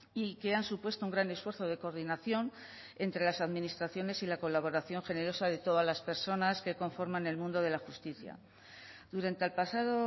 y que han supuesto un gran esfuerzo de coordinación entre las administraciones y la colaboración generosa de todas las personas que conforman el mundo de la justicia durante el pasado